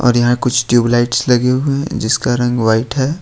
और यहां कुछ ट्यूब लाइट्स लगे हुए हैं जिसका रंग व्हाइट है।